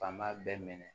Fan b'a bɛɛ minɛ